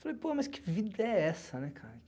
Falei, pô, mas que vida é essa, né, cara?